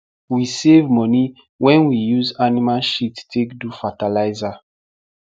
we save money wen we use animal shit take do fatalizer